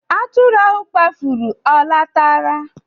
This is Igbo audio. Atụrụ ahụ kpafuru ọ lọtara?